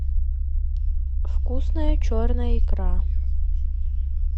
вкусная черная икра